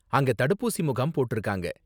அங்கே தடுப்பூசி முகாம் போட்டிருக்காங்க.